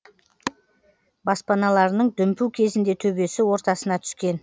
баспаналарының дүмпуі кезінде төбесі ортасына түскен